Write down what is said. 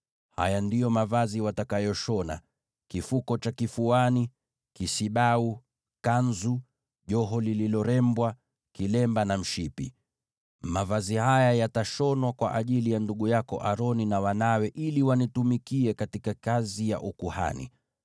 Haya ndiyo mavazi watakayoshona: kifuko cha kifuani, kisibau, kanzu, joho lililorembwa, kilemba na mshipi. Mavazi haya yatashonwa kwa ajili ya ndugu yako Aroni na wanawe ili wanitumikie katika kazi ya ukuhani.